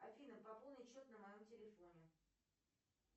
афина пополнить счет на моем телефоне